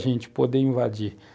a gente poder invadir.